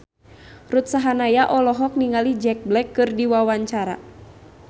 Ruth Sahanaya olohok ningali Jack Black keur diwawancara